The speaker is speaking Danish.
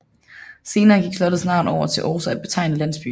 Senere gik slottets navn over til også at betegne landsbyen